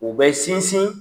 U bɛ sinsin